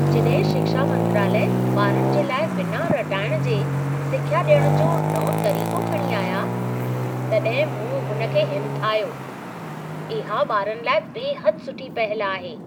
जॾहिं शिक्षा मंत्रालय ॿारनि जे लाइ बिना रटाइण जे सिख्या ॾियण जो नओं तरीक़ो खणी आया, तॾहिं मूं हुन खे हिमथायो। इहा ॿारनि लाइ बेहदि सुठी पहल आहे।